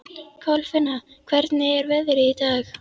Kolfinna, hvernig er veðrið í dag?